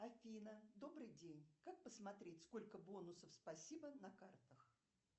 афина добрый день как посмотреть сколько бонусов спасибо на картах